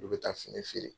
Olu bɛ taa fini feere